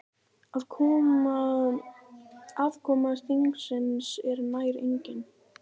Aðkoma þingsins er nær engin.